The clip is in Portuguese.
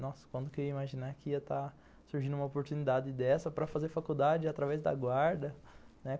Nossa, quando que eu ia imaginar que ia estar surgindo uma oportunidade dessa para fazer faculdade através da guarda, né?